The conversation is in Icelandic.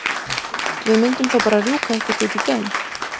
Við mundum þá bara rjúka eitthvert út í geim!